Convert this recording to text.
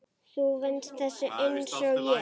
Þú venst þessu einsog ég.